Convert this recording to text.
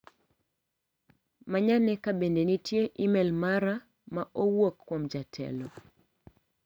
Manyane ka bende nitie imel mara ma owuok kuom jatelo.